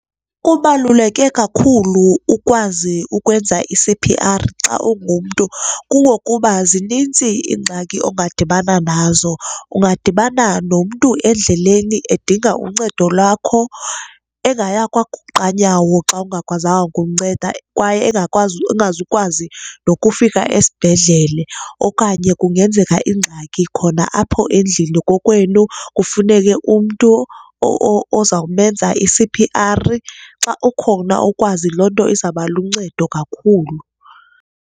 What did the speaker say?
Kubaluleke kakhulu ukwazi ukwenza i-C_P_R xa ungumntu kungokuba zinintsi iingxaki ongadibana nazo. Ungadibana nomntu endleleni edinga uncedo lwakho engaya kwaguqanyawo xa ungakwazanga kumnceda kwaye engakwazi, engazukwazi nokufika esibhedlele, okanye kungenzeka ingxaki khona apho endlini kokwenu kufuneke umntu ozawumenza i-C_P_R. Xa ukhona ukwazi loo nto izawubaluncedo kakhulu.